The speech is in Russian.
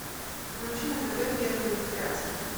включи на тв первый вегетарианский